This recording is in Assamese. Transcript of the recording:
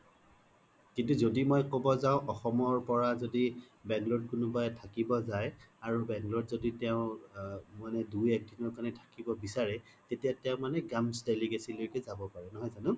কিন্তু যদি মই ক'ব জাও অসমৰ পোৰা যদি bangalore ত কোনোবাই থাকিবো যাই আৰু bangalore ত য্দি তেও অ মানে দুই এক্দিনৰ কাৰনে থাকিব বিচাৰে তেতিয়া তেও মানে delicacy লইকে যাব পাৰে নহয় যানো